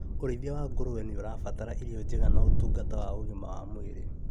ũrĩithia wa ngũrwe nĩũrabatara irio njega na ũtungata wa ũgima wa mwĩrĩ